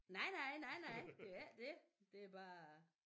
Nej nej nej nej det er ikke dét det bare